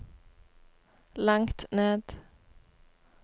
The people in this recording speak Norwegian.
langt ned